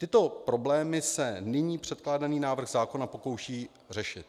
Tyto problémy se nyní předkládaný návrh zákona pokouší řešit.